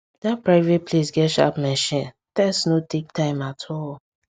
that private place get sharp machine test no take time at all